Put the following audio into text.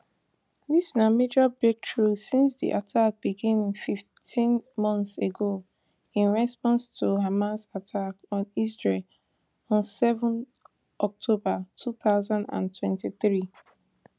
dis na major breakthrough since di attack begin fifteen months ago in response to hamas attack on israel on seven october two thousand and twenty-three